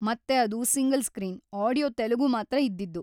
ಮತ್ತೆ ಅದು single screen, audio Telugu ಮಾತ್ರ ಇದ್ದಿದ್ದು.